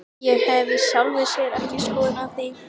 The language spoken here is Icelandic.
Ég hef í sjálfu sér ekki skoðun á því.